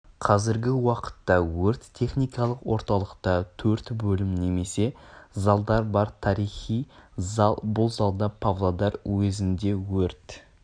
қазіргі уақытта өрт-техникалық орталықта төрт бөлім немесе залдар бар тарихи зал бұл залда павлодар уезінде өрт